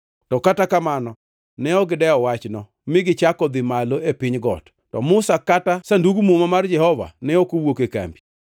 To kata kamano, ne ok gidewo wachno, mi gichako dhi malo e piny got, to Musa kata Sandug Muma mar Jehova Nyasaye ne ok owuok e kambi.